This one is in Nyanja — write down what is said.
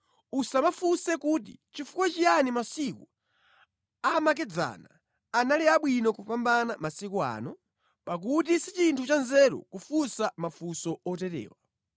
Usamafunse kuti, “Nʼchifukwa chiyani masiku amakedzana anali abwino kupambana masiku ano?” pakuti si chinthu chanzeru kufunsa mafunso oterewa.